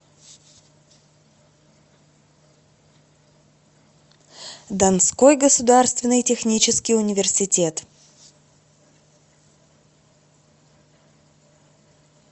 донской государственный технический университет